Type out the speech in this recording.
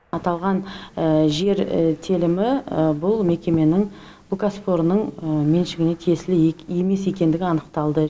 аталған жер телімі бұл мекеменің бұл кәсіпорынның меншігіне тиеісілі емес екендігі анықталды